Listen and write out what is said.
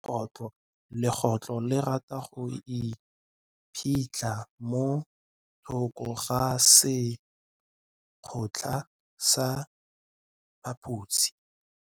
Legôtlô le rata go iphitlha mo thokô ga sekhutlo sa phaposi.